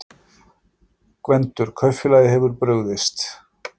GVENDUR: Kaupfélagið hefur brugðist.